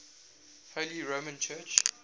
holy roman church